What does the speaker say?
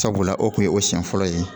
Sabula o kun ye o siɲɛ fɔlɔ ye